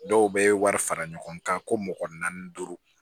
Dɔw bɛ wari fara ɲɔgɔn kan ko mɔgɔ naani duuru